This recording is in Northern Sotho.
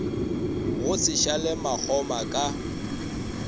go se šale makgoma ka